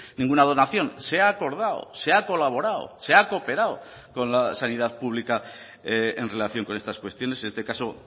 ninguna donación se ha acordado se ha colaborado se ha cooperado con la sanidad pública en relación con estas cuestiones en este caso